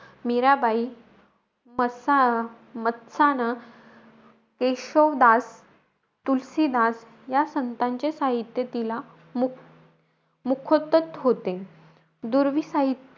मीराबाई, मसा मत्साना, केशवदास, तुलसीदास या संतांचे साहित्य तिला मुखो मुखोद्गत होते.